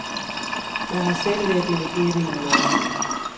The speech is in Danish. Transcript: Jeg har selv været delegeret i nogle år.